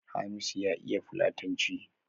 Hamisu ya iya fulatanci